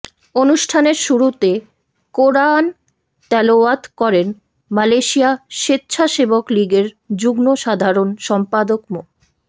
অনুষ্ঠানের শুরুতে কোরাআন তেলাওয়াত করেন মালয়েশিয়া স্বেচ্ছাসেবক লীগের যুগ্ম সাধারণ সম্পাদক মো